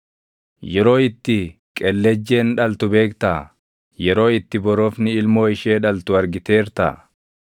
“Yeroo itti qellejjeen dhaltu beektaa? Yeroo itti borofni ilmoo ishee dhaltu argiteertaa?